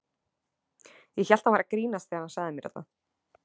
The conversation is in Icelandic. Ég hélt að hann væri að grínast þegar hann sagði mér þetta.